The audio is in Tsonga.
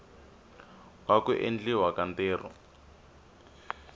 wa ku endliwa ka ntirho